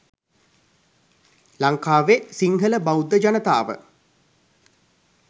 ලංකාවෙ සිංහල බෞද්ධ ජනතාව